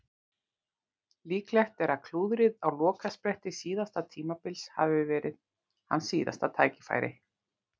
Líklegt er að klúðrið á lokaspretti síðasta tímabils hafi verið hans síðasta tækifæri.